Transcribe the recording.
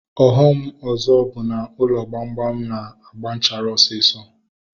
Ọghọm ọzọ bụ na ụlọ gbamgbam na-agba nchara osisọ